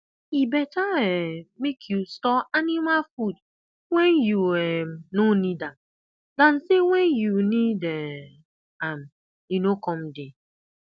e beta um make you store anima food wen you um no need am dan say wen you need um am e no com dey